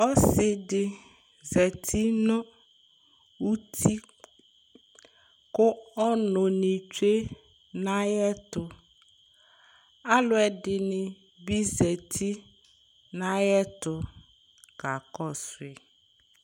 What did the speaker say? Ɔsɩ dɩ zati nʋ uti kʋ ɔnʋnɩ tsue nʋ ayɛtʋ Alʋɛdɩnɩ bɩ zati nʋ ayɛtʋ kakɔsʋ yɩ